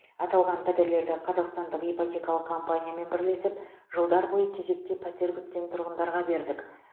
аталған пәтерлерді қазақстандық ипотекалық компаниямен бірлесіп жылдар боиы кезекте пәтер күткен тұрғандарға бердік